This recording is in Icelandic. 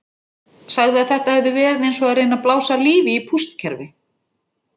Sagði að þetta hefði verið eins og að reyna að blása lífi í pústkerfi.